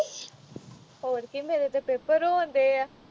ਹੋਰ ਕੀ ਮੇਰੇ ਤੇ paper ਹੋਣ ਦਏ ਆ